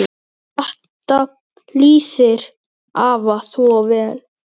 Þetta lýsir afa svo vel.